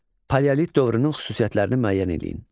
Paleolit dövrünün xüsusiyyətlərini müəyyən eləyin.